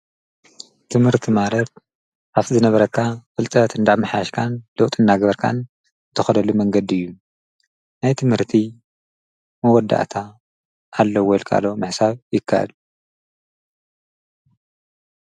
ትምህርቲ ማለት ካፍቲ ዝነበረካ ፍልጥት እንዳምሓሽካን ለውጢ እናገበርካን ትኸደሉ መንገዲ እዩ፡፡ ናይ ትምህርቲ መወዳእታ ኣለዎ ኢልካ ዶ ምሕሳብ ይካኣል?